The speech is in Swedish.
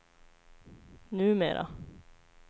numera